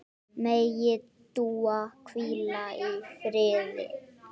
Megi Dúa hvíla í friði.